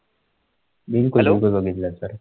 बिलकुल बिलकुल बघितलं आहे sir